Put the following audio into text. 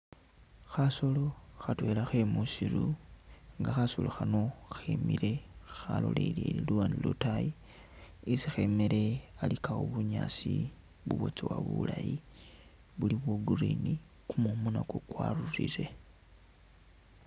Khasolo khatwela khemusiru nga khasolo khano khemile khalolelele luwande lwataayi isi khemele alikawo bunyaasi bubwatsowa bulayi buli bwa green kumumu nakwo kwarulile